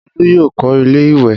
Olú yóò kọ́ ilé-ìwé!